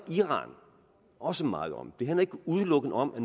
iran også meget om det handler ikke udelukkende om at